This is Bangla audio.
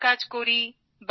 ঘরের কাজ করি